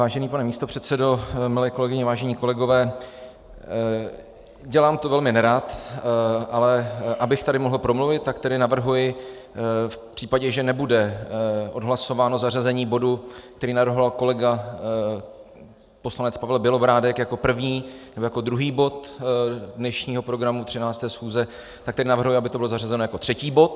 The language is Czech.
Vážený pane místopředsedo, milé kolegyně, vážení kolegové, dělám to velmi nerad, ale abych tady mohl promluvit, tak tedy navrhuji v případě, že nebude odhlasováno zařazení bodu, který navrhoval kolega poslanec Pavel Bělobrádek jako první nebo jako druhý bod dnešního programu 13. schůze, tak tedy navrhuji, aby to bylo zařazeno jako třetí bod.